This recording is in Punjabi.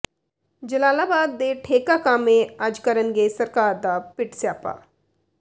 ਜਲਾਲਾਬਾਦ ਦੇ ਠੇਕਾ ਕਾਮੇ ਅੱਜ ਕਰਨਗੇ ਸਰਕਾਰ ਦਾ ਪਿੱਟ ਸਿਆਪਾ